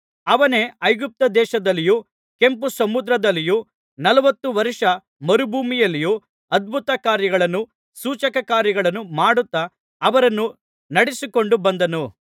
ಅವನೇ ಐಗುಪ್ತ ದೇಶದಲ್ಲಿಯೂ ಕೆಂಪು ಸಮುದ್ರದಲ್ಲಿಯೂ ನಲವತ್ತು ವರ್ಷ ಮರುಭೂಮಿಯಲ್ಲಿಯೂ ಅದ್ಭುತಕಾರ್ಯಗಳನ್ನೂ ಸೂಚಕ ಕಾರ್ಯಗಳನ್ನೂ ಮಾಡುತ್ತಾ ಅವರನ್ನು ನಡೆಸಿಕೊಂಡು ಬಂದನು